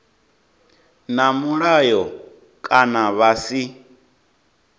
na mulayo kana vha si